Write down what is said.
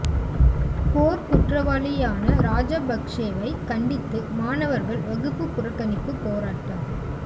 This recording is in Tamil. போர் குற்றவாளியான ராஜபக்சேவை கண்டித்து மாணவர்கள் வகுப்பு புறக்கணிப்பு போராட்டம்